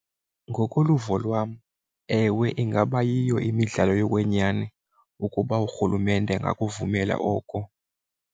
Ngokoluvo lwam, ewe, ingaba yiyo imidlalo yokwenyani ukuba urhulumente angakuvumela oko.